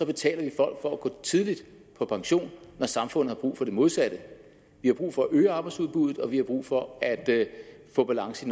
betaler folk for at gå tidligt på pension når samfundet har brug for det modsatte vi har brug for at øge arbejdsudbuddet og vi har brug for at få balance